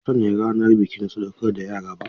Ba mu sanya ranar bikin sadauƙar da yara ba.